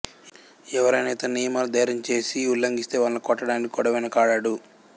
ఎవరైనా ఇతని నియమాలు ధైర్యం చేసి ఉల్లంఘిస్తే వాళ్ళని కొట్టడానికి కూడా వెనాకాడడు